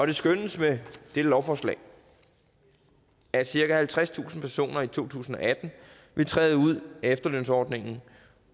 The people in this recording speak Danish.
det skønnes med det her lovforslag at cirka halvtredstusind personer i to tusind og atten vil træde ud af efterlønsordningen